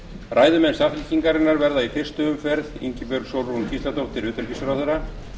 ræðumenn samfylkingarinnar verða í einni umferð ingibjörg sólrún gísladóttir utanríkisráðherra